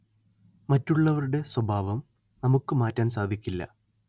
മറ്റുള്ളവരുടെ സ്വഭാവം നമ്മുക്ക് മാറ്റാന്‍ സാധിക്കില്ല